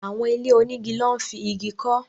Àwọn ilé onígi lọ́ n fi Igi kọ́